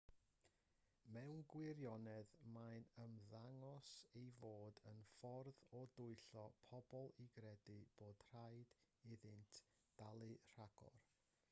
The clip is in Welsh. mewn gwirionedd mae'n ymddangos ei fod yn ffordd o dwyllo pobl i gredu bod rhaid iddynt dalu rhagor